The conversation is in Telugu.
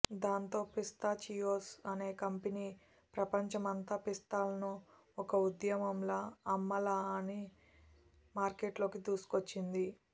దాంతో పిస్తాచియోస్ అనే కంపెనీ ప్రపంచమంతా పిస్తాలను ఒక ఉద్యమంలా అమ్మాలని మార్కెట్లోకి దూసుకొచ్చింది